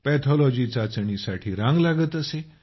pathology चाचणीसाठी रांग लागत असे